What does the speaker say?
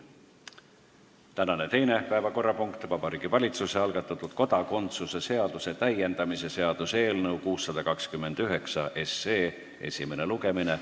Tänane teine päevakorrapunkt: Vabariigi Valitsuse algatatud kodakondsuse seaduse täiendamise seaduse eelnõu 629 esimene lugemine.